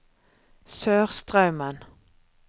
Sørstraumen